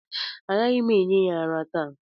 Agaghị m enye ya ara taa